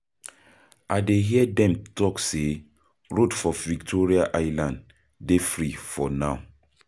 I dey hear dem talk say road for Victoria Island dey free for now.